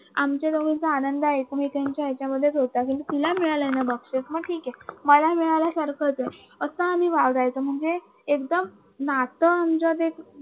आमच्या दोघींचं आनंद एकमेकींमध्ये असायचे की तुला मिळालं ना बक्षीस मी ठीक आहे मलाही मिळाल्यासारखंच आहे वागायचं म्हणजे एकदम नातं आमच जे